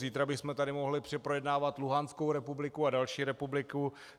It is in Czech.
Zítra bychom tady mohli projednávat Luhanskou republiku a další republiku.